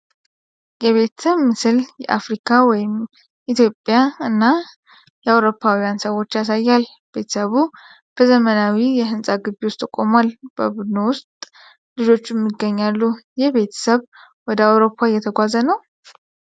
የቤተሰብ ምስል የአፍሪካ (ኢትዮጵያ) እና የአውሮፓውያን ሰዎችን ያሳያል። ቤተሰቡ በዘመናዊ የህንፃ ግቢ ውስጥ ቆሟል። በቡድኑ ውስጥ ልጆችም ይገኛሉ። ይህ ቤተሰብ ወደ አውሮፓ እየተጓዘ ነው?